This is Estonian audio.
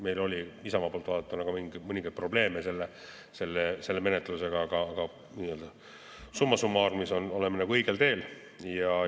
Meil oli Isamaa poolt vaadatuna mõningaid probleeme selle menetlusega, aga summa summarum oleme õigel teel.